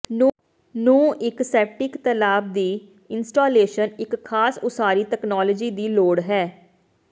ਨੂੰ ਇੱਕ ਸੈਪਟਿਕ ਤਲਾਬ ਦੀ ਇੰਸਟਾਲੇਸ਼ਨ ਇੱਕ ਖਾਸ ਉਸਾਰੀ ਤਕਨਾਲੋਜੀ ਦੀ ਲੋੜ ਹੈ